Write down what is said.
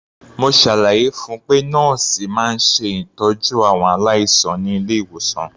Mo ṣàlàyé fun pé nọ́ọ̀sì máa ń ṣètọ́jú àwọn aláìsàn ní ilé-ìwòsàn.